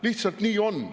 Lihtsalt nii on.